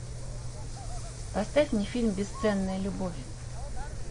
поставь мне фильм бесценная любовь